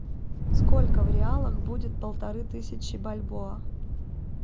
сколько в реалах будет полторы тысячи бальбоа